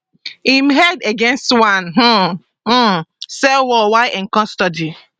im head against one um um cell wall while in custody